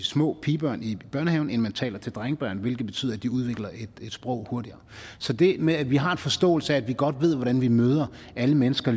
små pigebørn i børnehaven end man taler til drengebørn hvilket betyder at de udvikler et sprog hurtigere så det med at vi har en forståelse af det at vi godt ved hvordan vi møder alle mennesker